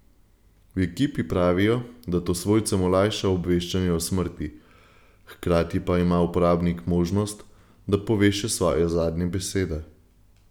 V ekipi pravijo, da to svojcem olajša obveščanje o smrti, hkrati pa ima uporabnik možnost, da pove še svoje zadnje besede.